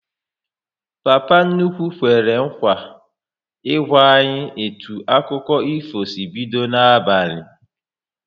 Papa nnukwu kwere nkwa ị gwa anyị etu akụkọ ifo si bido n'abalị